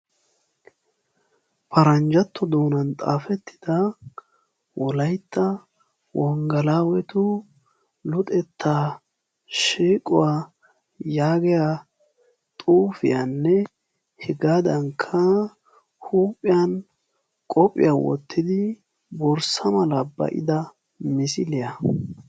paranjjatto doonan xafeetida Wolaytta wengelawetu shiiquwaa yaagiyaa xuufiyannehuuphiyaan qophiyaa wottidi borssa mala ba'ida misiliyaa.